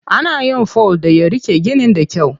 Ana yin fol da ya riƙe ginin da kyau.